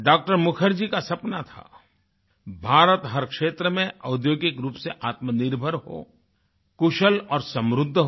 डॉ० मुखर्जी का सपना था भारत हर क्षेत्र में औद्योगिक रूप से आत्मनिर्भर हो कुशल और समृद्ध हो